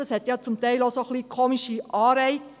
Das hat ja zum Teil auch etwas merkwürdige Anreize.